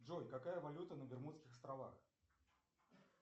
джой какая валюта на бермудских островах